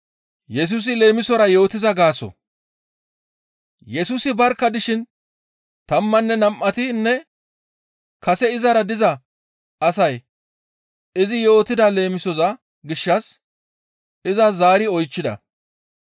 Yesusi barkka dishin tammanne nam7atinne kase izara diza asay izi yootida leemisoza gishshas iza zaari oychchida.